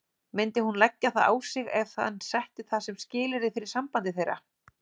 Myndi hún leggja það á sig ef hann setti það sem skilyrði fyrir sambandi þeirra?